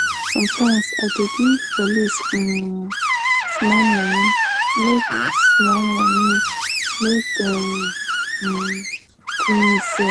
sometimes i dey give police um small moni make small moni make dem um gree me sell.